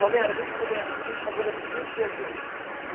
Romero, a gente começa aqui fazendo a seguinte pergunta.